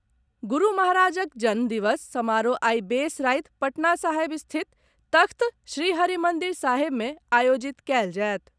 गुरू महाराजक जन्म दिवस समारोह आइ बेस राति पटना साहिब स्थित तख्त श्रीहरिमंदिर साहिब मे आयोजित कयल जायत।